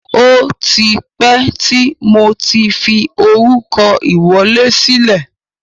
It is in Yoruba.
O tipẹ́ tí mo tí fi orúkọ ìwọlé sílẹ̀.